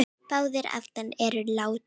Báðir afarnir eru látnir.